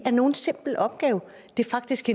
er nogen simpel opgave det er faktisk